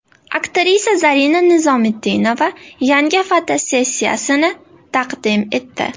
Aktrisa Zarina Nizomiddinova yangi fotosessiyasini taqdim etdi.